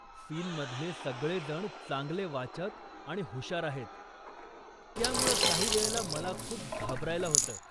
सीनमधले सगळेजण चांगले वाचक आणि हुशार आहेत, त्यामुळं काहीवेळेला मला खूप घाबरायला होतं.